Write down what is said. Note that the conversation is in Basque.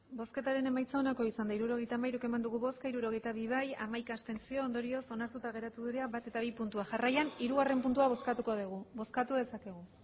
hirurogeita hamairu eman dugu bozka hirurogeita bi bai hamaika abstentzio ondorioz onartuta geratu dira bat eta bi puntuak jarraian hirugarrena puntua bozkatuko dugu bozkatu dezakegu